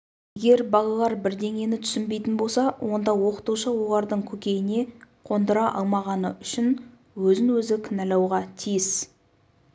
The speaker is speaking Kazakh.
егер балалар бірдеңені түсінбейтін болса онда оқытушы олардың көкейіне қондыра алмағаны үшін өзін-өзі кінәлауға тиіс